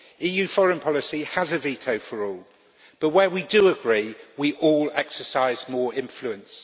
EU foreign policy has a veto for all, but where we do agree, we all exercise more influence.